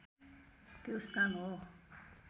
त्यो स्थान हो